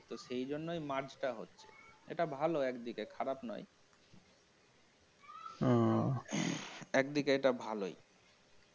সেজন্যই merge টা হচ্ছে সেটা ভাল একদিকে খারাপ নয় একদিকে এটা ভালই